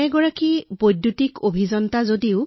মই এজন বিদ্যুৎ অভিযন্তা